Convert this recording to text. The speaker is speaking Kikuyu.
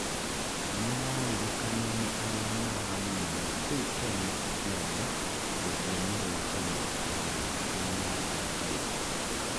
nĩararirikanwo nĩ aria maramũmenya kuũ Kenya akĩaria " rũthĩomi rwa Kenya" wanjiku niaraũgire